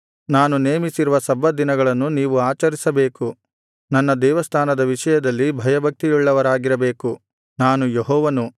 ನಾನು ನೇಮಿಸಿರುವ ಸಬ್ಬತ್ ದಿನಗಳನ್ನು ನೀವು ಆಚರಿಸಬೇಕು ನನ್ನ ದೇವಸ್ಥಾನದ ವಿಷಯದಲ್ಲಿ ಭಯಭಕ್ತಿಯುಳ್ಳವರಾಗಿರಬೇಕು ನಾನು ಯೆಹೋವನು